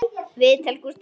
Viðtal Gústafs